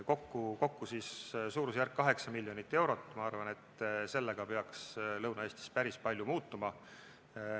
Kokku on siis suurusjärgus kaheksa miljonit eurot ja ma arvan, et sellega peaks Lõuna-Eestis päris palju muutuma.